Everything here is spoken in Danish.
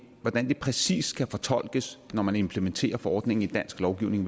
præcis skal fortolkes når man implementerer forordningen i dansk lovgivning